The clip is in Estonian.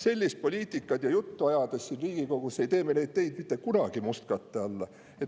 Sellist poliitikat ja sellist juttu ajades siin Riigikogus ei pane me neid teid mitte kunagi mustkatte alla.